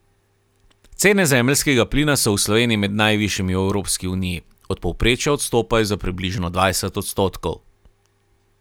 Cene zemeljskega plina so v Sloveniji med najvišjimi v Evropski uniji, od povprečja odstopajo za približno dvajset odstotkov.